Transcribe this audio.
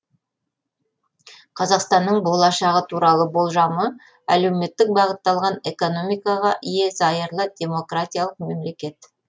қазақстанның болашағы туралы болжамы әлеуметтік бағытталған экономикаға ие зайырлы демократиялық мемлекет